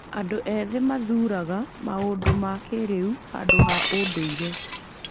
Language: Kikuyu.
Andũ ethĩ mathuuraga maũndũ ma kĩĩrĩu handũ ha ũndũire.